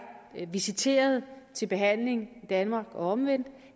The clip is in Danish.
visiteret til behandling i danmark og omvendt